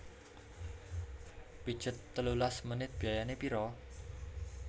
Pijet telulas menit biayane piro?